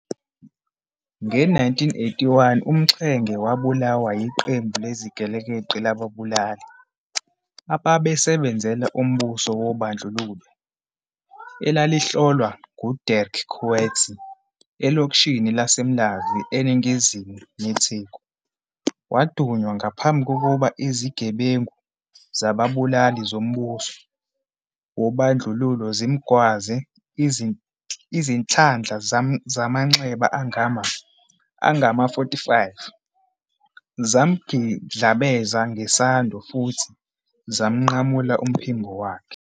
Nge-1981, uMxenge wabulawa yiqembu lezigelekeqe lababulali ababesebenzela umbuso wobandlululo, elaliholwa nguDirk Coetzee, elokishini laseMlazi eningizimu neTheku. Wadunywa ngaphambi kokuba izigebengu zababulali zombuso wobandlululo zimgwaze izinhlandla zamanxeba angama-45, zamgidlabeza ngesando futhi zamnqamula umphimbo wakhe.